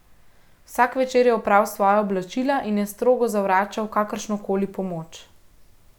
Vsak večer je opral svoja oblačila in je strogo zavračal kakršno koli pomoč.